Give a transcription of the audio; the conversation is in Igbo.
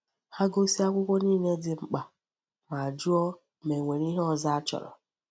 Ha gosi akwụkwọ niile dị mkpa ma jụọ ma e nwere ihe ọzọ a chọrọ.